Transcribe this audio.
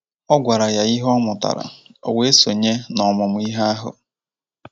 Ọ gwara ya ihe ọ mụtara, o wee sonye n’ọmụmụ ihe ahụ.